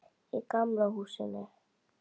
Í gamla húsinu.